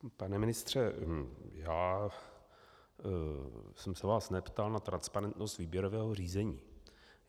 Pane ministře, já jsem se vás neptal na transparentnost výběrového řízení.